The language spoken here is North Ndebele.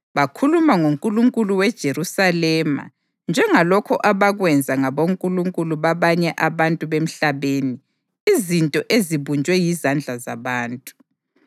Bakhuluma ngoNkulunkulu weJerusalema njengalokho abakwenza ngabonkulunkulu babanye abantu bemhlabeni, izinto ezibunjwe yizandla zabantu.